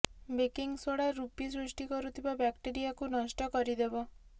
baking soda ରୂପି ସୃଷ୍ଟି କରୁଥିବା ବ୍ୟାକ୍ଟେରିଆକୁ ନଷ୍ଟ କରିଦେବ